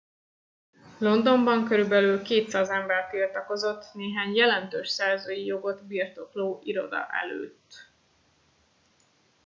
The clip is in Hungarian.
londonban körülbelül 200 ember tiltakozott néhány jelentős szerzői jogot birtokló iroda előtt